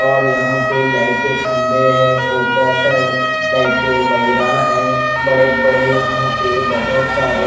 और यहाँ पर लाइट के खम्बे है फोकसा लाइट के बेरहा है बड़े बड़े यहाँ पे बोहोत सारे--